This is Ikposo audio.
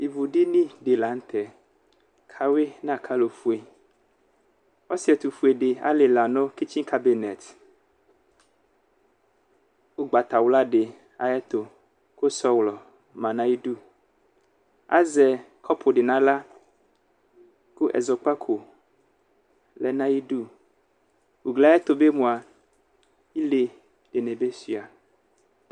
Ivudini dɩ la nʋ tɛ ayʋɩ nʋ akalo fue Ɔsɩ ɛtʋfue fï lila nʋ kitsinkabinɛs ʋgbatawla dɩ ayǝtʋ Kʋ sọlɔ ma n'ayidu Azɛ kɔpʋ dɩ n'aɣla ,kʋ ɛzɔkpako lɛ n'ayidu Ugli yɛtu bɩ mua ,ile dɩnɩ bɩ sʋɩa